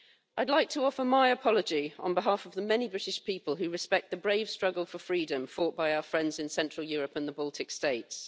I'd like to offer my apology on behalf of the many British people who respect the brave struggle for freedom fought by our friends in Central Europe and the Baltic states.